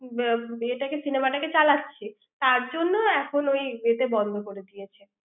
এটাকে cinema টাকে চালাচ্ছে তার জন্য এখন ওই এতে বন্ধ করে দিয়েছে